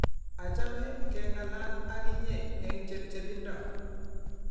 Achame keng'alal ak inyee eng chepcheindo